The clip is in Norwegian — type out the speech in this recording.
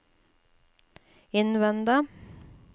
innvende